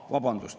Aa, vabandust!